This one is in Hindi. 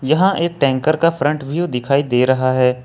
यहां एक टैंकर का फ्रंट व्यू दिखाई दे रहा है।